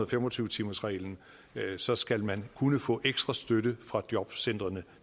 fem og tyve timersreglen så skal man kunne få ekstra støtte fra jobcentrene